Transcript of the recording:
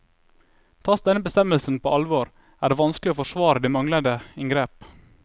Tas denne bestemmelsen på alvor, er det vanskelig å forsvare de manglende inngrep.